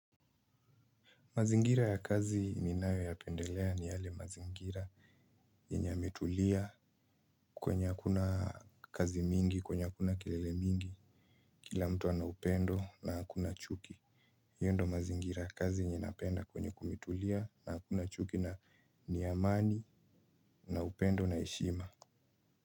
Mazingira ya kazi ninayo yapendelea ni yale mazingira yenye yametulia kwenye hakuna kazi mingi, kwenye hakuna kelele mingi, kila mtu ana upendo na hakuna chuki. Iyo ndo mazingira ya kazi yenye napenda kwenye kumetulia na hakuna chuki na ni amani na upendo na heshima.